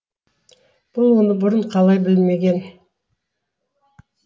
бұл оны бұрын қалай білмеген